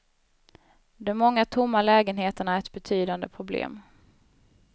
De många tomma lägenheterna är ett betydande problem.